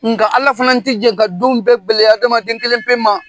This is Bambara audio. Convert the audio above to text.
Nga Ala fana tɛ jan ka don bɛɛ gɛlɛya hadamaden kelen pe ma.